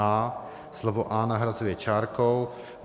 a) slovo A nahrazuje čárkou.